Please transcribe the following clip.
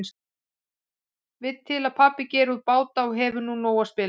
Vill til að pabbi gerir út báta og hefur úr nógu að spila.